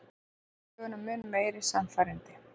Gerir söguna mun meira sannfærandi.